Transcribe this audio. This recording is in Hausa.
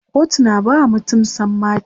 kotu na bawa mutum sammaci